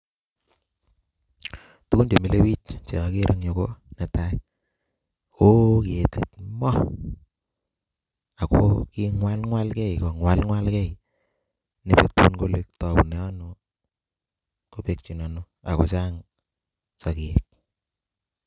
Tugun chemile bich che akere eng yu ko, Netai ko ooh ketik waa?, Ako kimwalmwalgei komwalmwalgei ne betun kole taune ano kobekyi ano ako chang sokek.